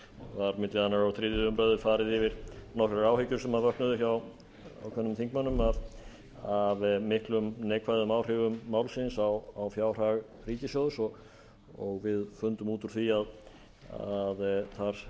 var á milli annars og þriðja umræða farið yfir nokkrar áhyggjur sem vöknuðu hjá ákveðnum þingmönnum af miklum neikvæðum áhrifum málsins á fjárhag ríkissjóðs og við fundum út úr því að þar